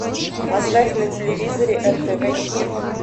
поставь на телевизоре нтв хит